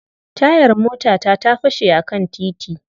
Tayar motata ta fashe a kan titi.